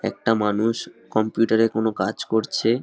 একটা মানুষ কম্পিউটার -এ কোনো কাজ করছে ।